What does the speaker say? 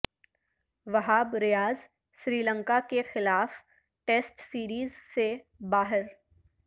وہاب ریاض سری لنکا کے خلاف test series سے باہر